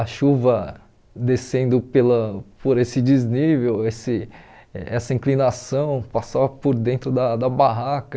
A chuva descendo pela por esse desnível, esse essa inclinação, passava por dentro da da barraca.